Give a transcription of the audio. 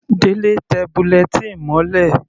Delẹ tẹ bulletin mọ́lẹ̀.